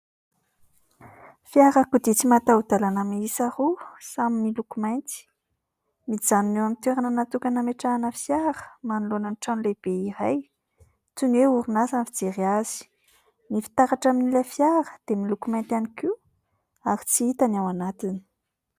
Fiarakodia tsy mataho-dàlana mihisa roa, samy miloko mainty. Mijanona eo amin'ny toerana natokana ametrahana fiara manoloana ny trano lehibe iray. Toy ny hoe orinasa ny fijery azy. Ny fitaratra amin'ilay fiara dia miloko mainty ihany koa ary tsy hita ny ao anatiny.